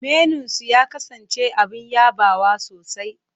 Menunsu ya kasance abin yabawa sosai.